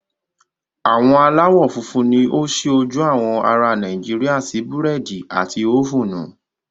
Àwọn aláwọ̀ funfun ni ó ṣí ojú àwọn ará Nàìjíríà sí búrẹ́dì àti ófúnù.